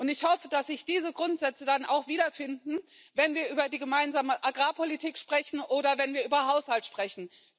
Ich hoffe, dass sich diese Grundsätze dann auch wiederfinden, wenn wir über die Gemeinsame Agrarpolitik sprechen oder wenn wir über Haushalt sprechen.